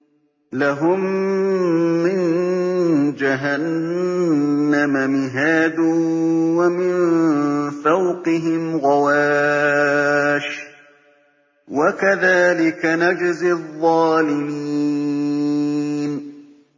لَهُم مِّن جَهَنَّمَ مِهَادٌ وَمِن فَوْقِهِمْ غَوَاشٍ ۚ وَكَذَٰلِكَ نَجْزِي الظَّالِمِينَ